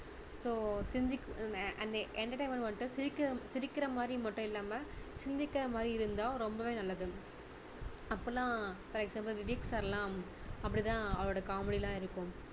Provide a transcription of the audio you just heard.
so சிந்திக்~அந்த்~ entertainment வந்து சிரிக்~சிரிக்கிற மாதிரி மட்டும் இல்லாம சிந்திக்கிற மாதிரி இருந்தா ரொம்பவே நல்லது. அப்போலாம் சில சமயம் விவேக் sir லாம் அப்படி தான் அவருடைய காமெடி எல்லாம் இருக்கும்